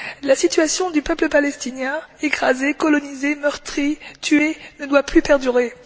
La situation du peuple palestinien écrasé, colonisé, meurtri, tué ne doit plus perdurer.